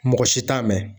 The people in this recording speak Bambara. Mɔgɔ si t'a mɛn